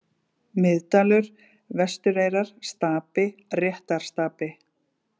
Miðdalur, Vestureyrar, Stapi, Réttarstapi